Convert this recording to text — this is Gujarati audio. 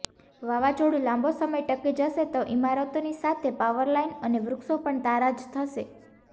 વાવાઝોડું લાંબો સમય ટકી જશે તો ઇમારતોની સાથે પાવરલાઇન અને વૃક્ષો પણ તારાજ થશે